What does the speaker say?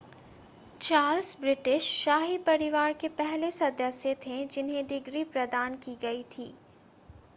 Charles British शाही परिवार के पहले सदस्य थे जिन्हें डिग्री प्रदान की गई थी